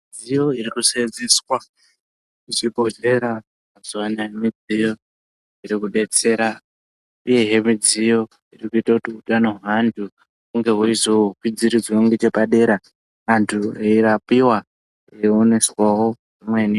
Midziyo iri kusenzeswa muzvibhedhlera mazuwa anaaya midziyo iri kudetsera uyehe midziyo iri kuite kuti utano hweantu hunge hweizokwidziridzwe ngeche padera antu eirapiwa eioneswawo zvimweni.